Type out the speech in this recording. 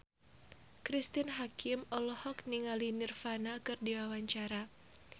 Cristine Hakim olohok ningali Nirvana keur diwawancara